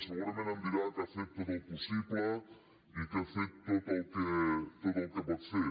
segurament em dirà que ha fet tot el possible i que ha fet tot el que pot fer